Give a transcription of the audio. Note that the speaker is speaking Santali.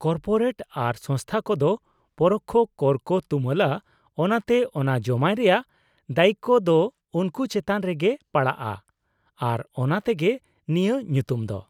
-ᱠᱚᱨᱯᱳᱨᱮᱴ ᱟᱨ ᱥᱚᱝᱥᱛᱷᱟ ᱠᱚᱫᱚ ᱯᱚᱨᱚᱠᱽᱠᱷᱚ ᱠᱚᱨ ᱠᱚ ᱛᱩᱢᱟᱹᱞᱟ, ᱚᱱᱟᱛᱮ ᱚᱱᱟ ᱡᱚᱢᱟᱭ ᱨᱮᱭᱟᱜ ᱫᱟᱹᱭᱤᱠ ᱫᱚ ᱩᱝᱠᱩ ᱪᱮᱛᱟᱱ ᱨᱮᱜᱮ ᱯᱟᱲᱟᱜᱼᱟ ᱟᱨ ᱚᱱᱟ ᱛᱮᱜᱮ ᱱᱤᱭᱟᱹ ᱧᱩᱛᱩᱢ ᱫᱚ ᱾